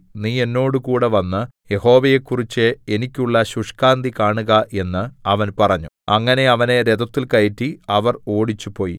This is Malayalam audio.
നീ എന്നോടുകൂടെ വന്ന് യഹോവയെക്കുറിച്ച് എനിക്കുള്ള ശുഷ്കാന്തി കാണുക എന്ന് അവൻ പറഞ്ഞു അങ്ങനെ അവനെ രഥത്തിൽ കയറ്റി അവർ ഓടിച്ചുപോയി